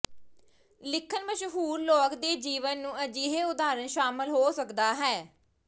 ਲਿਖਣ ਮਸ਼ਹੂਰ ਲੋਕ ਦੇ ਜੀਵਨ ਨੂੰ ਅਜਿਹੇ ਉਦਾਹਰਣ ਸ਼ਾਮਲ ਹੋ ਸਕਦਾ ਹੈ